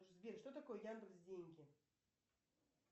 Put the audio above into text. сбер что такое яндекс деньги